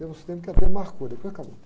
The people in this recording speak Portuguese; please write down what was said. Teve uns tempos que até marcou, depois acabou.